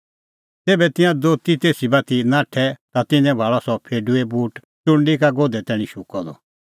ज़ेभै तिंयां दोती तेसी बाती नाठै ता तिन्नैं भाल़अ सह फेडूओ बूट च़ुंडी का गोधै तैणीं शुक्कअ द